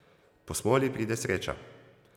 Po smoli pride sreča.